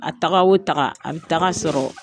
A taga o taga a bɛ tag' a sɔrɔ